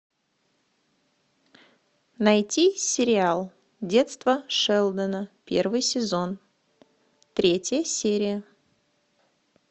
найти сериал детство шелдона первый сезон третья серия